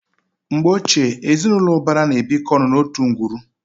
Mgbe ochie, ezinụlọ ụbara mkpuke na-ebikọ ọnụ n'otu ngwuru.